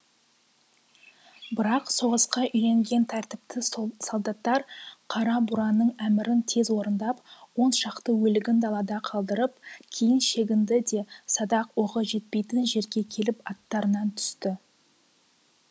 бірақ соғысқа үйренген тәртіпті сол солдаттар қара бураның әмірін тез орындап он шақты өлігін далада қалдырып кейін шегінді де садақ оғы жетпейтін жерге келіп аттарынан түсті